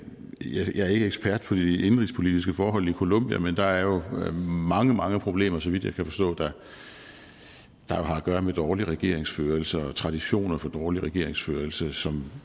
er ikke ekspert på de indenrigspolitiske forhold i colombia men der er jo mange mange problemer så vidt jeg kan forstå der har at gøre med dårlig regeringsførelse og traditioner for dårlig regeringsførelse som